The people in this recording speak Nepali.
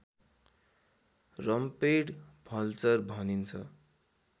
रम्पेड भल्चर भनिन्छ